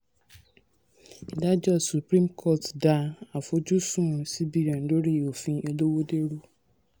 ìdájọ́ supreme court dá àfojúsùn cbn lórí òfin olówódé rú.